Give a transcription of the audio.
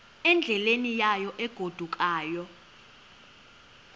endleleni yayo egodukayo